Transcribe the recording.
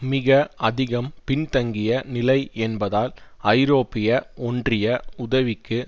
மிக அதிகம் பின்தங்கிய நிலை என்பதால் ஐரோப்பிய ஒன்றிய உதவிக்கு